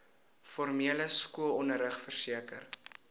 formele skoolonderrig verseker